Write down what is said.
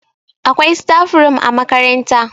akwai. staf room a makaranta